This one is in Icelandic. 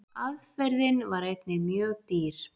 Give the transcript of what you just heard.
Aðferðin var einnig mjög dýr.